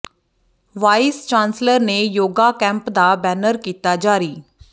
vice chancellor ਨੇ yoga camp ਦਾ banner ਕੀਤਾ ਜਾਰੀ